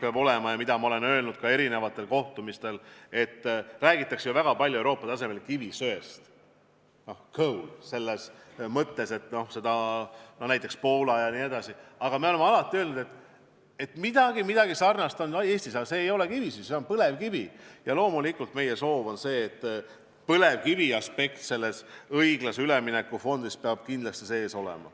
Ma olen seda öelnud ka mitmel kohtumisel, et Euroopas räägitakse väga palju kivisöest, coal'ist, näiteks Poolas jne, aga midagi sarnast on ka Eestis, kuid see ei ole kivisüsi, see on põlevkivi, ja loomulikult on meie soov ja see peab meie eesmärk olema, et põlevkiviteema oleks õiglase ülemineku fondis kindlasti sees.